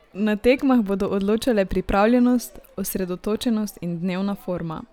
Na tekmah bodo odločale pripravljenost, osredotočenost in dnevna forma.